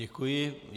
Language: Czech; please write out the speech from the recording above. Děkuji.